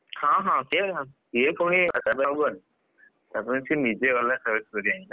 ହଁ ହଁ ସିଏ ତାପରେ ସେ ନିଜେ ଗଲା, choice କରିକି ଆଣିଲା।